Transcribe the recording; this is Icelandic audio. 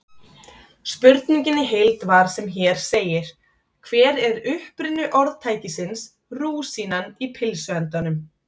Spurningin í heild var sem hér segir: Hver er uppruni orðtækisins rúsínan í pylsuendanum?